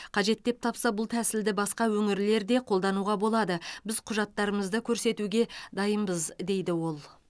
қажет деп тапса бұл тәсілді басқа өңірлер де қолдануға болады біз құжаттарымызды көрсетуге дайынбыз дейді ол